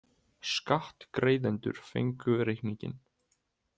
Skattgreiðendur fengu reikninginn.